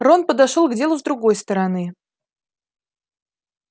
рон подошёл к делу с другой стороны